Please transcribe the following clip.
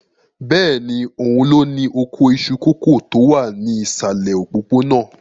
Bẹ́ẹ̀ni, òun ló ní oko iṣu kòkó tó wà ní ìsàlẹ̀ òpópónà.